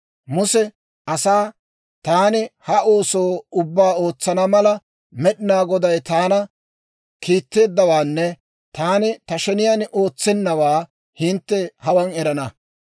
Muse asaa, «Taani ha ooso ubbaa ootsana mala, Med'inaa Goday taana kiitteeddawaanne taani ta sheniyaan ootsennawaa hintte hawaan erana.